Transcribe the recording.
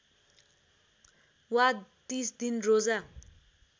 वा ३० दिन रोजा